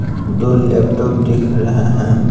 दो लैपटॉप दिख रहे हैं।